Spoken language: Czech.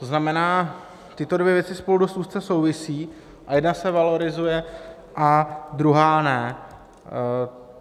To znamená, tyto dvě věci spolu dost úzce souvisejí a jedna se valorizuje a druhá ne.